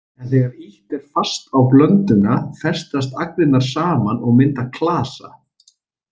En þegar ýtt er fast á blönduna festast agnirnar saman og mynda klasa.